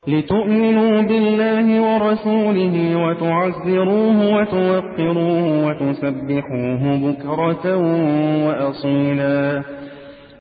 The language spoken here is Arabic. لِّتُؤْمِنُوا بِاللَّهِ وَرَسُولِهِ وَتُعَزِّرُوهُ وَتُوَقِّرُوهُ وَتُسَبِّحُوهُ بُكْرَةً وَأَصِيلًا